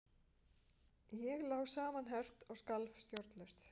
Ég lá samanherpt og skalf stjórnlaust.